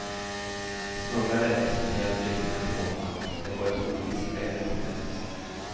Smugglare exporterar flyktingar till vårt land och de går ett ovisst öde till mötes.